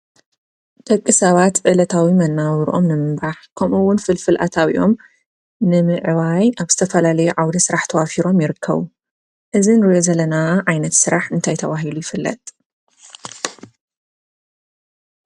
ደቂ ሰባት ዕለታዊ መነባብርኦም ንም ምምራሕ ከምኡ እውን ፍልፍል ኣታዊኦም ንምዕባይ ኣብ ዝተፈላለየ ዓዉደ ስራሕ ተዋፊሮም ይርከቡ። እዚ ንሪኦ ዘለና ዓይነት ስራሕ እንታይ ተባሂሉ ይፍለጥ ?